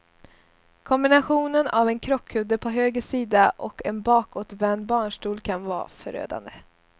Kombinationen av en krockkudde på höger sida och en bakåtvänd barnstol kan vara förödande.